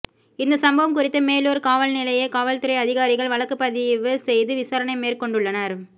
இந்தச் சம்பவம் குறித்து மேலூர் காவல்நிலைய காவல்துறை அதிகாரிகள் வழக்குப் பதிவு செய்து விசாரணை மேற்கொண்டுள்ளனர்